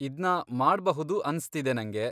ಇದ್ನ ಮಾಡ್ಬಹುದು ಅನ್ಸ್ತಿದೆ ನಂಗೆ.